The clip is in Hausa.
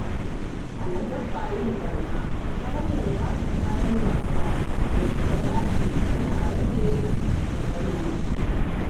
Hana dabba yin barna ta hanyar ba ta kayan wasan da suka dace yana rage matsaloli.